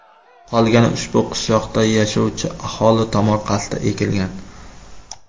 Qolgani ushbu qishloqda yashovchi aholi tomorqasida ekilgan.